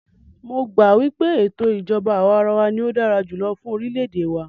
Mó gbà wípé ètò ìjọbá àwàrawa ní o dára jùlọ fún orilẹ ède wa.